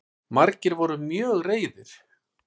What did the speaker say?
Margir voru mjög reiðir